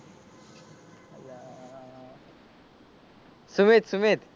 Sumit Sumit